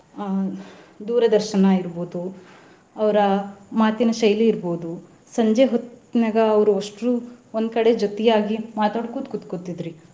ಆಹ್ ದೂರದರ್ಶನ ಇರ್ಬಹುದು ಅವ್ರ ಮಾತಿನ ಶೈಲಿ ಇರ್ಬಹುದು ಸಂಜೆ ಹೊತ್ತನ್ಯಾಗ ಅವ್ರು ಅಷ್ಟ್ರು. ಒಂದ್ ಕಡೆ ಜೊತೆಯಾಗಿ ಮಾತಾಡ್ಕೊತ ಕೂತಕೋತಿದ್ರಿ.